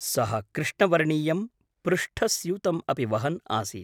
सः कृष्णवर्णीयं पृष्ठस्यूतम् अपि वहन् आसीत्।